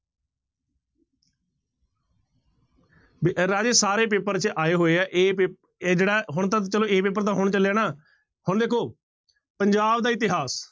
ਵੀ ਰਾਜੇ ਸਾਰੇ ਪੇਪਰ ਚ ਆਏ ਹੋਏ ਹੈ a ਪੇ ਇਹ ਜਿਹੜਾ ਹੁਣ ਤਾਂ ਚਲੋ a ਪੇਪਰ ਤਾਂ ਹੁਣ ਚੱਲਿਆ ਨਾ, ਹੁਣ ਦੇਖੋ ਪੰਜਾਬ ਦਾ ਇਤਿਹਾਸ